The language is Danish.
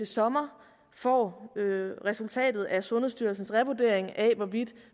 sommer får resultatet af sundhedsstyrelsens revurdering af hvorvidt